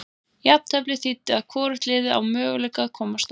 Jafnteflið þýddi að hvorugt liðið á möguleika að komast áfram.